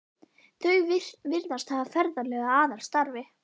Þau virðast hafa ferðalög að aðalstarfi.